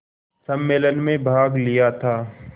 सम्मेलन में भाग लिया था